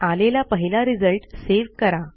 आलेला पहिला result save करा